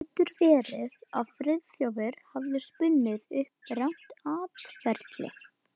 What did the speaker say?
Getur verið að Friðþjófur hafi spunnið upp rangt atferli?